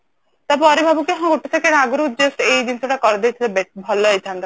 ତାପରେ ଭାବୁ କି ହଁ ଗୋଟେ second ଆଗରୁ just ଏଇ ଜିନିଷଟା କରି ଦେଇଥିଲେ ଭଲ ହେଇଥାନ୍ତା